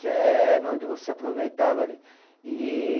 Que é onde você aproveitava ali. E